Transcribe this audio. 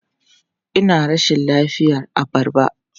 Ina rashin lafiyar abarba.